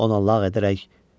Ona lağ etməyə başladı.